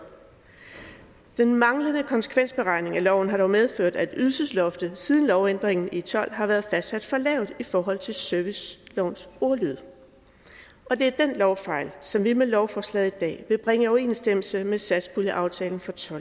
den manglende konsekvensberegning af loven har dog medført at ydelsesloftet siden lovændringen i tolv har været fastsat for lavt i forhold til servicelovens ordlyd det er den lovfejl som vi med lovforslaget i dag vil bringe i overensstemmelse med satspuljeaftalen for to